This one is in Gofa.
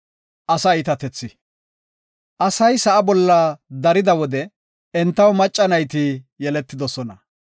Asay sa7a bolla darida wode entaw macca nayti yeletidosona.